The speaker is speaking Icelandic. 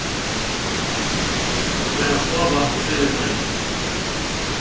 Fer að sofa á þriðjudaginn